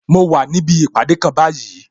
Mo wà níbi ìpàdé kan báyìí